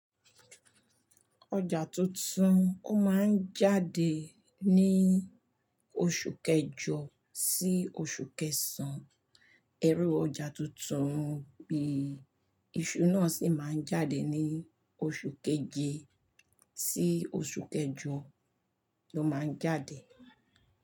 Ọjà tuntun, ó máa ń jáde ní oṣù kẹjọ sí oṣù kẹsàn. Ẹrú ọjà tuntun bíi iṣu náà sì máa ń jáde ní oṣù keje sí oṣù kẹjọ ló máa ń jáde.